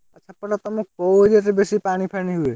ସେପଟେ ତମ କଉ area ରେ ବେଶୀ ପାଣି ଫାଣି ହୁଏ?